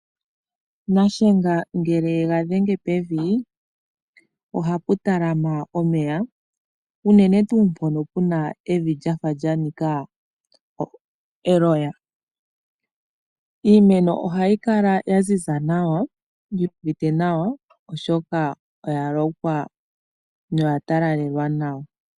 Shiyenga shaNangombe ngele yega dhenga pevi ohapu talama omeya unene mpono puna evi lya fa lyanika eloya . Iimeno ohayi kala yaziza nawa, yuuvite nawa oshoka oya lokwa noya talalelwa nawa.